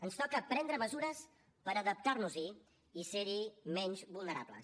ens toca prendre mesures per adaptar nos hi i ser hi menys vulnerables